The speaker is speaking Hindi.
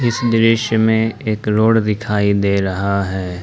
इस दृश्य में एक रोड दिखाई दे रहा है।